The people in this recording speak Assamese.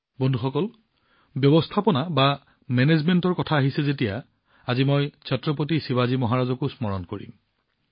বন্ধুসকল ব্যৱস্থাপনাৰ কথা আহিলে আজি মই ছত্ৰপতি শিৱাজী মহাৰাজকো স্মৰণ কৰিম